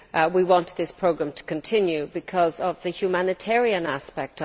We want this programme to continue because of its humanitarian aspect.